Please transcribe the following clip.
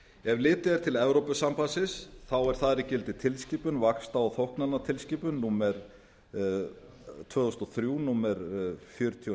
ef litið er til evrópusambandsins er þar í gildi tilskipun vaxta og þóknanatilskipun númer tvö þúsund og þrjú fjörutíu og níu e